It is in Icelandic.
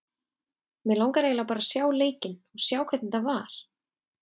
Mig langar eiginlega bara að sjá leikinn og sjá hvernig þetta var.